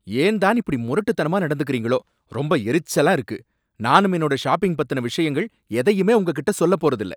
ஏன் தான் இப்படி முரட்டுத்தனமா நடந்துக்கிறீங்களோ! ரொம்ப எரிச்சலா இருக்கு, நானும் என்னோட ஷாப்பிங் பத்தின விஷயங்கள் எதையுமே உங்ககிட்ட சொல்ல போறது இல்ல.